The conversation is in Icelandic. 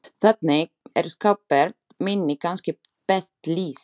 Þannig er skapgerð minni kannski best lýst.